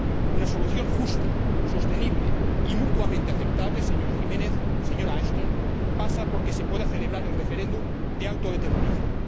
Una solución justa, sostenible y mutuamente aceptable, señora Jiménez, señora Ashton, pasa porque se pueda celebrar el referéndum de autodeterminación.